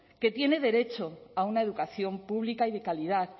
que tiene derecho a una educación pública y de calidad